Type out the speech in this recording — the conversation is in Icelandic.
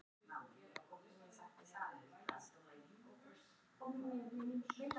Penélope setti Dísina niður á milli gáma þannig að ekkert fór fyrir henni.